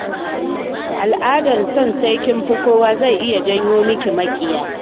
Al'adar son sai kin fi kowa zai iya janyo miki maƙiya.